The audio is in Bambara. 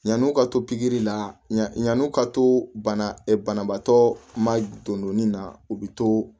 Yan'u ka to pikiri la yann'u ka to bana ɛɛ banabaatɔ ma donni na u bɛ to